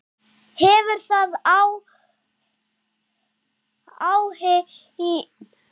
Hefur það áhrif í kvöld?